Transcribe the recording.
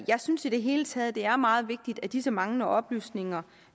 jeg synes i det hele taget at det er meget vigtigt at disse manglende oplysninger